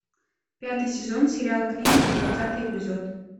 пятый сезон сериал клиника двадцатый эпизод